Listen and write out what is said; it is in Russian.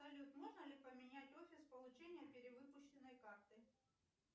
салют можно ли поменять офис получения перевыпущенной карты